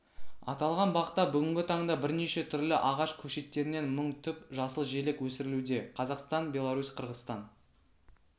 аталған бақта бүгінгі таңда бірнеше түрлі ағаш көшеттерінен мың түп жасыл желек өсірілуде қазақстан беларусь қырғызстан